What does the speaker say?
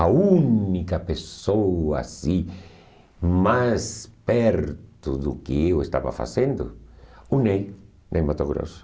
A única pessoa assim, mais perto do que eu estava fazendo, o Ney Ney Matogrosso.